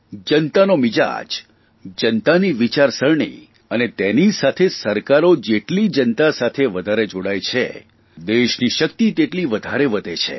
જનતાનો મિજાજ જનતાની વિચારસરણી અને તેની સાથે સરકારો જેટલી જનતા સાથે વધારે જોડાય છે દેશની શકિત તેટલી વધારે વધે છે